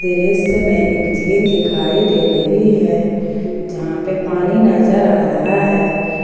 दृश्य में एक झील दिखाई दे रही है जहां पे पानी नजर आ रहा है।